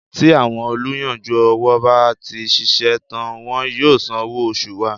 Tí àwọn olùyanjú owó bá ti ṣiṣẹ́ tán wọn yóò san owó oṣù wa.